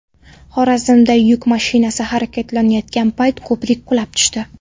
Xorazmda yuk mashinasi harakatlanayotgan payt ko‘prik qulab tushdi.